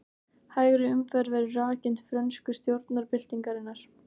Hægri umferð verður rakin til frönsku stjórnarbyltingarinnar.